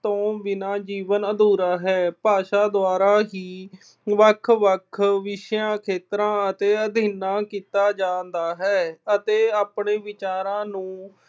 ਤੋਂ ਬਿਨਾਂ ਜੀਵਨ ਅਧੂਰਾ ਹੈ। ਭਾਸ਼ਾ ਦੁਆਰਾ ਹੀ ਵੱਖ-ਵੱਖ ਵਿਸ਼ਿਆਂ, ਖੇਤਰਾਂ ਅਤੇ ਕੀਤਾ ਜਾਂਦਾ ਹੈ ਅਤੇ ਆਪਣੇ ਵਿਚਾਰਾਂ ਨੂੰ